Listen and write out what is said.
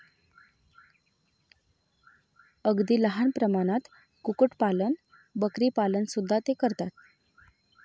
अगदी लहान प्रमाणात कुक्कुटपालन, बकरीपालन सुद्धा ते करतात.